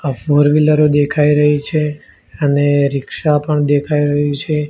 આ ફોરવિલરો દેખાય રહી છે અને રિક્ષા પણ દેખાય રહી છે.